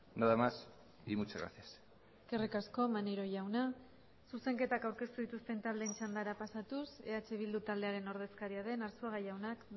nada más y muchas gracias eskerrik asko maneiro jauna zuzenketak aurkeztu dituzten taldeen txandara pasatuz eh bildu taldearen ordezkaria den arzuaga jaunak